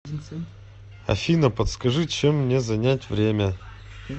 афина подскажи чем мне занять время